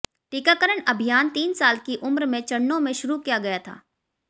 टीकाकरण अभियान तीन साल की उम्र में चरणों में शुरू किया गया था